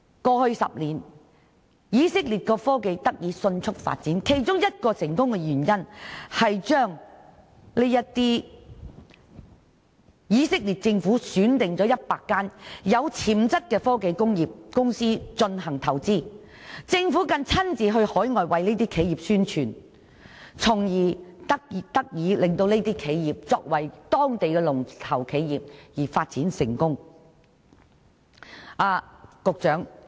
過去10年，以色列的科技得以迅速發展的成功原因之一，是以色列政府選定了100間有潛質的科技工業公司進行投資，更親自到海外為這些企業宣傳，令到這些企業成為當地的龍頭企業而發展成功。